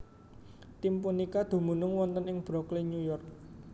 Tim punika dumunung wonten ing Brooklyn New York